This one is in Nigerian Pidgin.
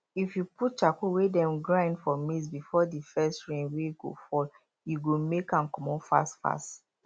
if you put charcoal wey dem grind for maize before the first rain wey go fall e go make am comot fast fast